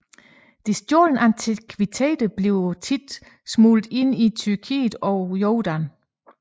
De stjålne antikviteter bliver ofte smuglet ind i Tyrkiet og Jordan